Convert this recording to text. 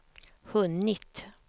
hunnit